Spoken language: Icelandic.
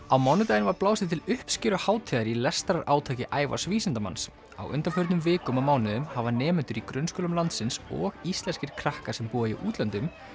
á mánudaginn var blásið til uppskeruhátíðar í lestrarátaki Ævars vísindamanns á undanförnum vikum og mánuðum hafa nemendur í grunnskólum landsins og íslenskir krakkar sem búa í útlöndum